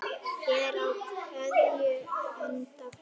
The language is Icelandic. Er á keðju enda kló.